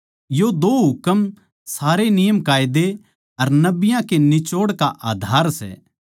यो दो हुकम सारे नियमकायदे अर नबियाँ का निचोड़ आधार सै